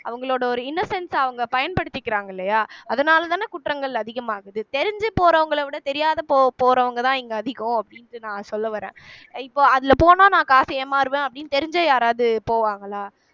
அவங்களோட ஒரு innocence அ அவங்க பயன்படுத்திக்கிறாங்க இல்லையா அதனாலதான குற்றங்கள் அதிகமாகுது தெரிஞ்சு போறவங்களை விட தெரியாத போ போறவங்கதான் இங்க அதிகம் அப்படின்னுட்டு நான் சொல்ல வர்றேன் இப்ப அதுல போனா நான் காசை ஏமாறுவேன் அப்படின்னு தெரிஞ்சே யாராவது போவாங்களா